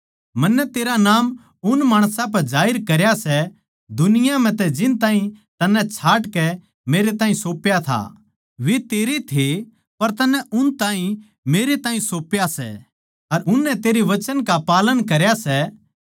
मन्नै तेरा नाम उन माणसां पै जाहिर करया सै दुनिया म्ह तै जिनताहीं तन्नै छाटकै मेरैताहीं सौप्या था वे तेरे थे पर तन्नै उन ताहीं मेरै ताहीं सौप्या सै अर उननै तेरै वचन का पालन करया सै